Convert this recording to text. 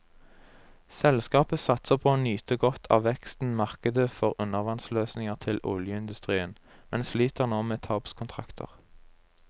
Selskapet satser på å nyte godt av veksten markedet for undervannsløsninger til oljeindustrien, men sliter nå med tapskontrakter.